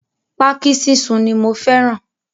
Pákí sísun ni mo fẹ́ràn.